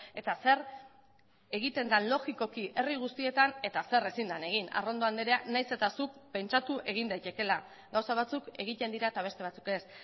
eta zer egiten den logikoki herri guztietan eta zer ezin den egin arrondo andrea nahiz eta zuk pentsatu egin daitekeela gauza batzuk egiten dira eta beste batzuk ez